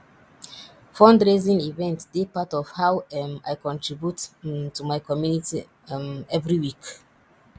fundraising events dey part of how um i contribute um to my community um every week